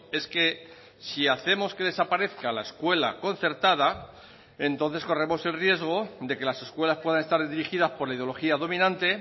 es que si hacemos que desaparezca la escuela concertada entonces corremos el riesgo de que las escuelas puedan estar dirigidas por la ideología dominante